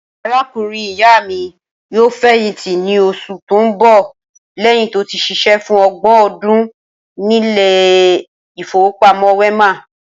Arákùnrin ìyá mi yóò fè̩yìntí ní os̩ù tó ń bò̩ lé̩yìn tó ti s̩is̩é̩ fún o̩gbò̩n o̩dún nílé ìfowópamó̩ Wé̩mà